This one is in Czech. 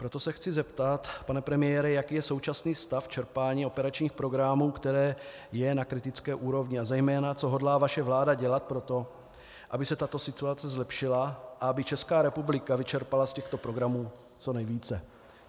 Proto se chci zeptat, pane premiére, jaký je současný stav čerpání operačních programů, který je na kritické úrovni, a zejména co hodlá vaše vláda dělat pro to, aby se tato situace zlepšila a aby Česká republika vyčerpala z těchto programů co nejvíce.